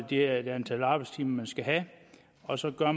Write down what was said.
det antal arbejdstimer man skal have og så gør